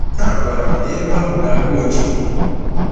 A gwara m na ebe ahụ ga-agba oji!